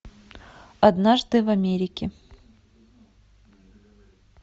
однажды в америке